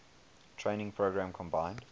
training program combined